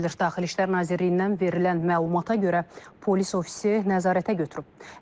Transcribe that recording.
Daxili İşlər Nazirliyindən verilən məlumata görə polis ofisi nəzarətə götürüb.